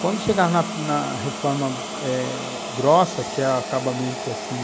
Quando chegaram na na reforma eh grossa, que era o acabamento assim,